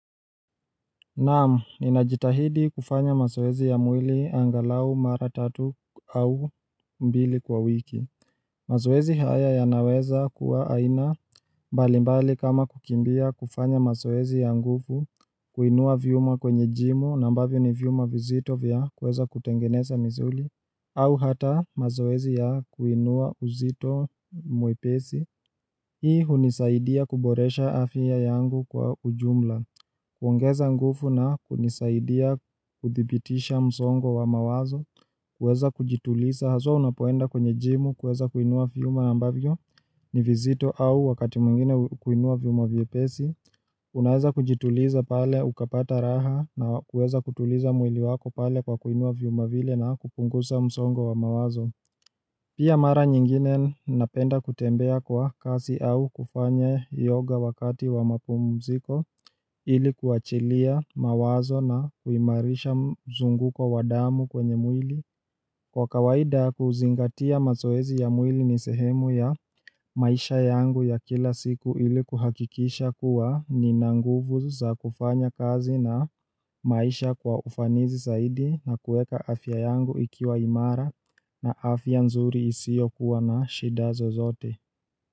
Naam, ninajitahidi kufanya mazowezi ya mwili angalau mara tatu au mbili kwa wiki Mazowezi haya yanaweza kuwa aina balimbali kama kukimbia kufanya mazowezi ya nguvu kuinua vyuma kwenye jimo, nambavyo ni vyuma vizito vya kuweza kutengeneza msuli au hata mazowezi ya kuinua uzito mwepesi Hii hunisaidia kuboresha afya yangu kwa ujumla kuongeza nguvu na kunisaidia kuthibitisha msongo wa mawazo kuweza kujituliza haswa unapoenda kwenye jimu kuweza kuinua vyuma ambavyo ni vizito au wakati mwingine kuinua vyuma vyepesi Unaweza kujituliza pale ukapata raha na kuweza kutuliza mwili wako pale kwa kuinua vyuma vile na kupunguza msongo wa mawazo Pia mara nyingine napenda kutembea kwa kasi au kufanya yoga wakati wa mapumumziko ilikuachilia mawazo na kuimarisha mzunguko wa damu kwenye mwili. Kwa kawaida kuzingatia mazoezi ya mwili nisehemu ya maisha yangu ya kila siku ili kuhakikisha kuwa nina nguvuz za kufanya kazi na maisha kwa ufanisi zaidi na kueka afya yangu ikiwa imara na afya nzuri isiyo kuwa na shida zozote.